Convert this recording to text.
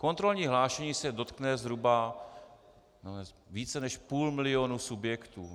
Kontrolní hlášení se dotkne zhruba více než půl milionu subjektů.